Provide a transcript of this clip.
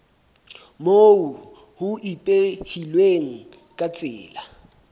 moo ho ipehilweng ka tsela